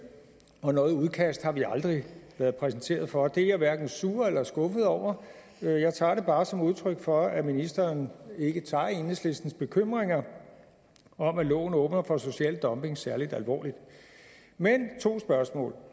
og noget udkast har vi aldrig været præsenteret for det er jeg hverken sur eller skuffet over jeg tager det bare som udtryk for at ministeren ikke tager enhedslistens bekymringer om at loven åbner for social dumping særlig alvorligt to spørgsmål